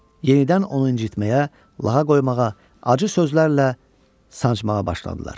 Yenidən onu incitməyə, lağa qoymağa, acı sözlərlə sancmağa başladılar.